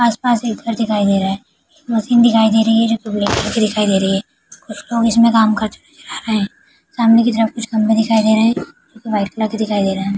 आस-पास एक घर दिखाई दे रहा है मशीन दिखाई दे रही है जो ब्लैक कलर की दिखाई दे रही है कुछ लोग इसमें काम करते हुए नजर आ रहे हैं सामने की तरफ कुछ खम्भे दिखाई दे रहे जो की वाइट कलर के दिखाई दे रहा है।